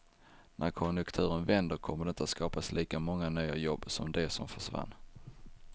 När konjunkturen vänder kommer det inte att skapas lika många nya jobb som de som försvann.